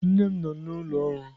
Nne m nọ n'ụlọ ọrụ.